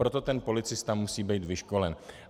Proto ten policista musí být vyškolen.